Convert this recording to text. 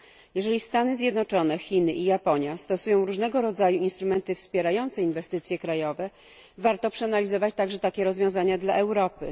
Jeśli Stany Zjednoczone, Chiny i Japonia stosują różnego rodzaju instrumenty wspierające inwestycje krajowe, warto przeanalizować także takie rozwiązania dla Europy.